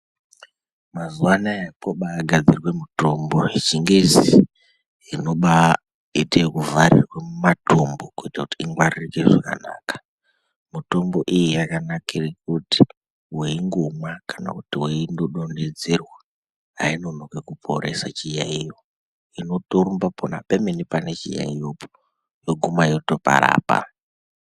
Mazuwa anaya kwobaaa gadzirwe mitombo dzechi ngezi inobaaa vharirwe muma tombo kuti ingwaririke zvakanaka mitombo iyi yakanakire kuti weingomwa kana kuti weindo donhedzerwa ainonoki kuporesa chiyaiyo inotorumba pona pemene pane chiyaiyo yoguma yotoparapa.